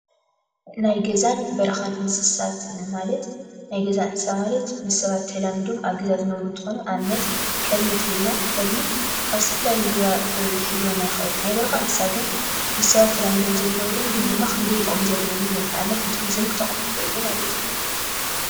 ናይ ገዛን በረካን እንስሳት ማለት ናይ ገዛ እንስሳ ማለት ምስ ሰባት ተላሚዶም ኣብ ገዛ ዝነብሩ እንትኮኑ፣ ኣብነት፦ ከልቢ እንተ ኢልና፦ ከልቢ ካብ ዝተፈላለዩ ሌባ ክሕልወና ይክእል። ናይ በረካ እንስሳ ግን ምስ ሰባት ተላሚዶም ዘይነብሩን ግን ድማ ክንደይ ጥቅሚ ዘለዎም እዮም ። ንኣብነት ንቱሪዙም ክጠቅሙ ይክእሉ ማለት እዩ።